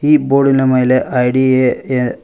ಈ ಬೋರ್ಡಿನ ಮೇಲೆ ಐ ಡಿ ಎ --